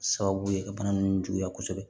Sababu ye ka bana nunnu juguya kosɛbɛ